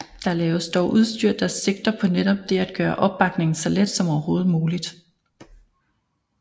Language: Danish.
Der laves dog udstyr der sigter på netop det at gøre oppakningen så let som overhovedet muligt